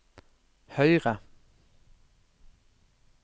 høyre